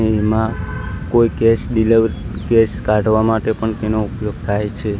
એમાં કોઈ કેસ દિલે કેસ કાઢવા માટે પણ તેનો ઉપયોગ થાઈ છે.